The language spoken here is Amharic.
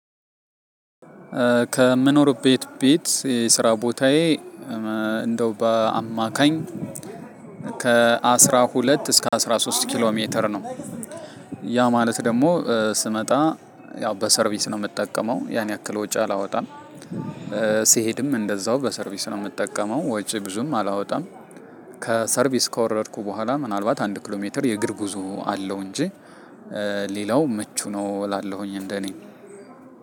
ከምኖርበት ቤት የስራ ቦታዬ እንደው በአማካኝ ከ አስራ ሁለት እስከ አስራ ሶስት ኪሎ ሜትር ነው። ያ ማለት ደሞ ስመጣ ያው በሰርቪስ ነው ምጠቀመው ያን ያክል ወጪ አላወጣም። ስሄድም እንደዛው በሰርቪስ ነው ምጠቀመው ወጪ ብዙም አላወጣም። ከሰርቪስ ከወረድኩ በኋላ ምናልባት አንድ ኪሎ ሜትር የእግር ጉዞ አለው እንጂ። ሌላው ምቹ ነው እላለሁኝ እንደኔ